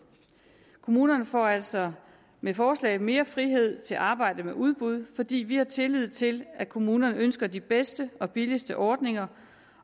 kommunerne får altså med forslaget mere frihed til at arbejde med udbud fordi vi har tillid til at kommunerne ønsker de bedste og billigste ordninger